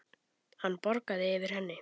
Hann bograði yfir henni.